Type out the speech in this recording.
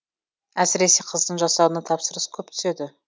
әсіресе қыздың жасауына тапсырыс көп түседі